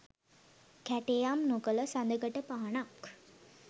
කැටයම් නොකල සදකඩ පහනක්